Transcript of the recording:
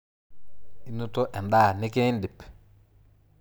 Inoto endaa nikiindip?